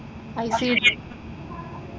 ICD.